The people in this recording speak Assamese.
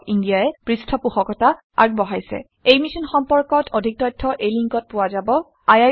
এই মিশ্যন সম্পৰ্কত অধিক তথ্য spoken hyphen tutorial dot org slash এনএমইআইচিত হাইফেন ইন্ট্ৰ ৱেবচাইটত পোৱা যাব